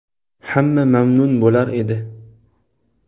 Hamma mamnun bo‘lar edi.